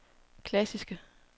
klassiske